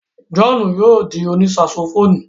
John yóò di òní saxophonu